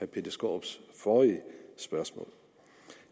peter skaarups forrige spørgsmål